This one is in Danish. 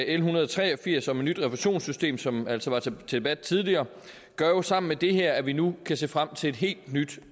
en hundrede og tre og firs om et nyt refusionssystem som altså var til debat tidligere gør jo sammen med det her at vi nu kan se frem til et helt nyt